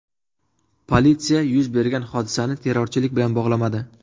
Politsiya yuz bergan hodisani terrorchilik bilan bog‘lamadi.